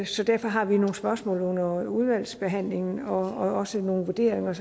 så derfor har vi nogle spørgsmål under udvalgsbehandlingen og også nogle vurderinger